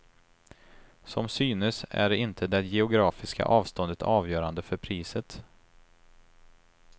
Som synes är inte det geografiska avståndet avgörande för priset.